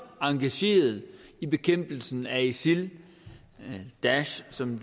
engageret i bekæmpelsen af isil daesh som